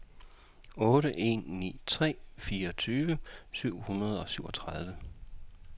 otte en ni tre fireogtyve syv hundrede og syvogtredive